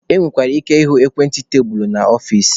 E nwekwara ike ịhụ ekwentị tebulu n'ọfici.